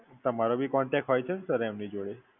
તમારો ભી Contact હોય છે ને Sir એમની જોડે?